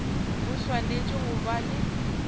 go swanetše go ba le